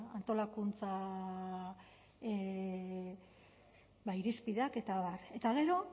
antolakuntza irizpideak eta abar eta gero